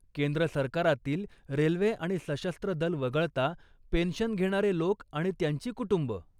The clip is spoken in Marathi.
केंद्र सरकारातील रेल्वे आणि सशस्त्र दल वगळता पेंशन घेणारे लोक आणि त्यांची कुटुंबं.